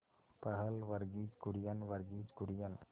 पहल वर्गीज कुरियन वर्गीज कुरियन